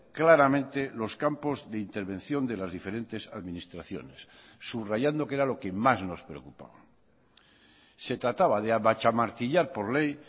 claramente los campos de intervención de las diferentes administraciones subrayando qué era lo que más nos preocupaba se trataba de amachamartillar por ley